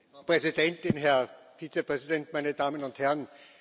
Frau Präsidentin, Herr Vizepräsident, meine Damen und Herren!